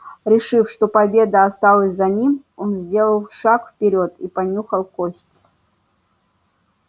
решив что победа осталась за ним он сделал шаг вперёд и понюхал кость